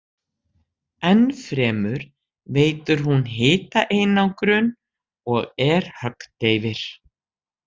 Enn fremur veitir hún hitaeinangrun og er höggdeyfir.